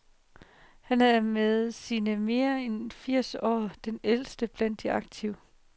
Han er med sine mere end firs år den ældste blandt de aktive.